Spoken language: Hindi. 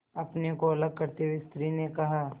अपने को अलग करते हुए स्त्री ने कहा